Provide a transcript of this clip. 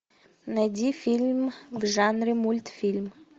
найди фильм в жанре мультфильм